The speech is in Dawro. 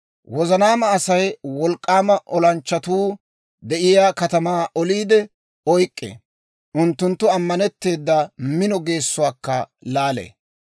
Wozanaama Asay wolk'k'aama olanchchatuu de'iyaa katamaa oliide oyk'k'ee; unttunttu ammanetteeda mino geessuwaakka laalee.